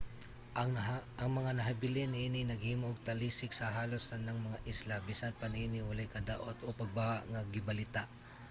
ang mga nahibilin niini naghimo og talisik sa halos tanang mga isla. bisan pa niini walay kadaot o pagbaha nga gibalita